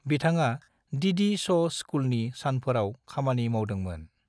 बिथाङा DD show स्कुलनि सानफोराव खामानि मावदों मोन।